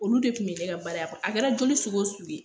Olu de tun bɛ ne ka baara kɔnɔ a kɛra joli sugu o sugu ye